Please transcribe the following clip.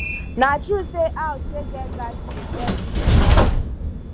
na true sey house wey get garden dey good for environment